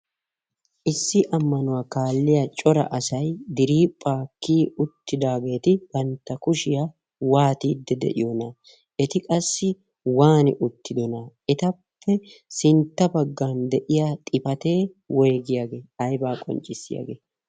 issi ammanuwaa kaalliya cora asai diriipphaakkii uttidaageeti bantta kushiyaa waatiidde de'iyoona eti qassi waani uttidona etappe sintta baggan de'iya xifatee woygiyaagee aybaa qonccissiyaagee?